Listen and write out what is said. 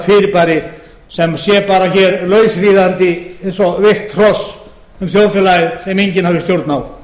fyrirbæri sem sé bara hér lausríðandi eins og veikt hross um þjóðfélagið sem enginn hafi stjórn á